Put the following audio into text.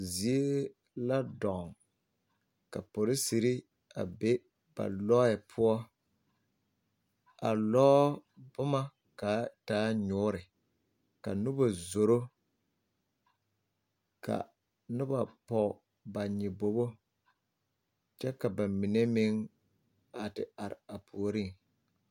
Zie la dɔɔ ka polisiri a be ba lɔɛ poɔ a lɔɔ boma ka a taa nyuuri ka Noba zoro ka noba pɔge ba nyɔbogo kyɛ ka ba mine meŋ a te are a puoriŋ.